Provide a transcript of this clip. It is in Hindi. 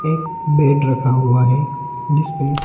एक बेड रखा हुआ है जिसपे--